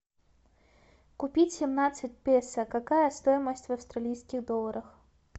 купить семнадцать песо какая стоимость в австралийских долларах